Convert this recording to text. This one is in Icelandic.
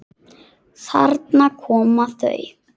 Þarna koma þau!